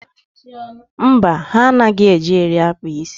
Mba, ha anaghị eji eri akpa isi.